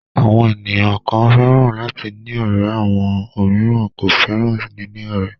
Àwọn ènìyàn kan fẹ́ràn láti ní ọ̀rẹ́ àwọn òmíràn kò fẹ́ràn níní ọ̀rẹ́.